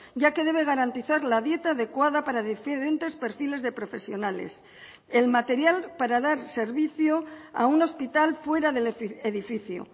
ya que debe garantizar la dieta adecuada para diferentes perfiles de profesionales el material para dar servicio a un hospital fuera del edificio